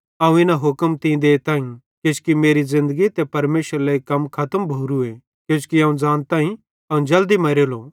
अवं इना हुक्म तीं देताईं किजोकि मेरी ज़िन्दगी ते परमेशरेरे लेइ कम खतम भोवरूए किजोकि अवं ज़ानताईं अवं जल्दी मरेलो